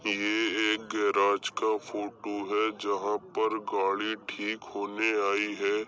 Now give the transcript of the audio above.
ये एक गैराज का फोटो है जहाँ पर गाड़ी ठीक होने आई है।